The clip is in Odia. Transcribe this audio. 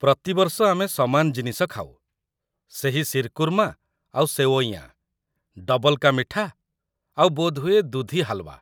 ପ୍ରତିବର୍ଷ ଆମେ ସମାନ ଜିନିଷ ଖାଉ, ସେହି ଶିର୍‌କୁର୍ମା ଆଉ ସେୱଇୟାଁ, ଡବଲ୍ କା ମିଠା, ଆଉ ବୋଧହୁଏ ଦୁଧି ହାଲୱା ।